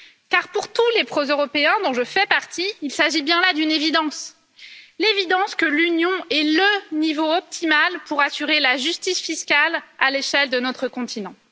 Car pour tous les pro européens, dont je fais partie, il s'agit bien là d'une évidence l'évidence que l'Union est le niveau optimal pour assurer la justice fiscale à l'échelle de notre continent.